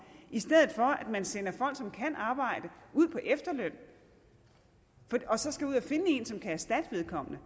i stedet for at man sender folk som kan arbejde ud på efterløn og så skal finde en som kan erstatte vedkommende